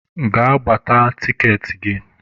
Gaa gbata tikeetị gị!